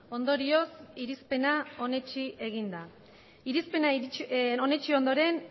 ondorioz irizpena onetsi egin da irizpena onetsi ondoren